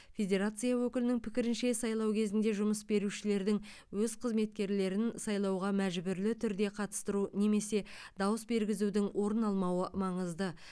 федерация өкілінің пікірінше сайлау кезінде жұмыс берушілердің өз қызметкерлерін сайлауға мәжбүрлі түрде қатыстыру немесе дауыс бергізудің орын алмауы маңызды